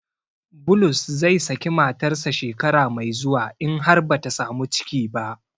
Bulus zai saki matarsa shekara mai zuwa in har bata samu ciki ba.